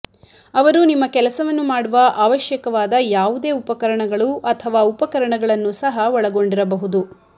ಅವರು ನಿಮ್ಮ ಕೆಲಸವನ್ನು ಮಾಡುವ ಅವಶ್ಯಕವಾದ ಯಾವುದೇ ಉಪಕರಣಗಳು ಅಥವಾ ಉಪಕರಣಗಳನ್ನು ಸಹ ಒಳಗೊಂಡಿರಬಹುದು